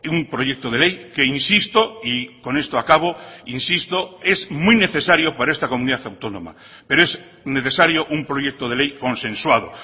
un proyecto de ley que insisto y con esto acabo insisto es muy necesario para esta comunidad autónoma pero es necesario un proyecto de ley consensuado